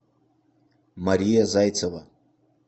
мария зайцева